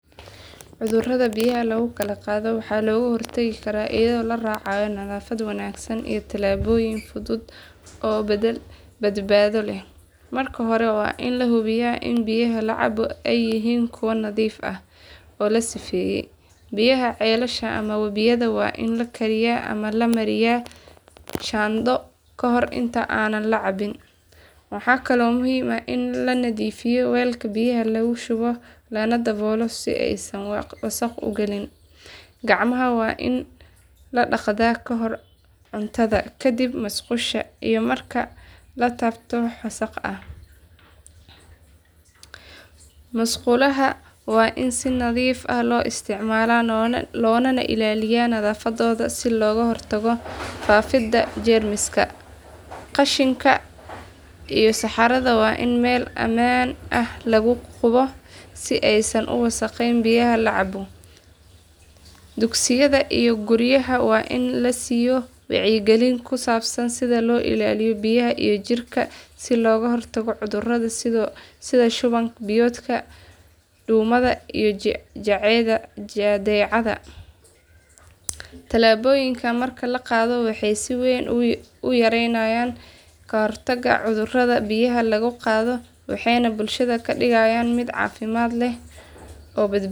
Cudurrada biyaha lagu kala qaado waxaa looga hortagi karaa iyadoo la raacayo nadaafad wanaagsan iyo tallaabooyin fudud oo badbaado leh. Marka hore waa in la hubiyaa in biyaha la cabo ay yihiin kuwo nadiif ah oo la sifeeyay. Biyaha ceelasha ama wabiyada waa in la kariyaa ama la mariyaa shaandho kahor inta aan la cabin. Waxaa kaloo muhiim ah in la nadiifiyo weelka biyaha lagu shubo lana daboolo si aysan wasakh u galin. Gacmaha waa in la dhaqaa ka hor cuntada, kadib musqusha, iyo marka la taabto wax wasakh ah. Musqulaha waa in si nadiif ah loo isticmaalaa loona ilaaliyo nadaafadooda si looga hortago faafidda jeermiska. Qashinka iyo saxarada waa in meel ammaan ah lagu qubo si aysan u wasakheyn biyaha la cabo. Dugsiyada iyo guryaha waa in la siiyo wacyigelin ku saabsan sida loo ilaaliyo biyaha iyo jirka si looga hortago cudurrada sida shuban biyoodka, duumada, iyo jadeecada. Tallaabooyinkan marka la qaato waxay si weyn u yareynayaan khatarta cudurrada biyaha laga qaado waxayna bulshada ka dhigayaan mid caafimaad leh oo.